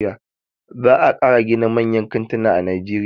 Za a ƙara gina manyan kantina a najeriya.